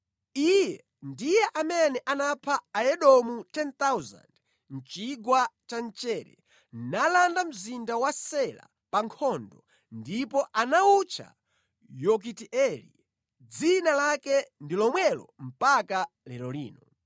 Iye ndiye amene anapha Aedomu 10,000 mʼchigwa cha Mchere nalanda mzinda wa Sela pa nkhondo ndipo anawutcha Yokiteeli, dzina lake ndi lomwelo mpaka lero lino.